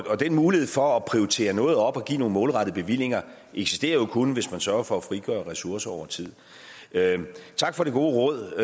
mulighed for at prioritere noget op og give nogle målrettede bevillinger eksisterer jo kun hvis man sørger for at frigøre ressourcer over tid tak for det gode råd